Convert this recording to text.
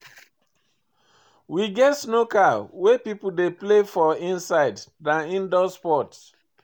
We get snooker wey pipo dey play for inside, na indoor sport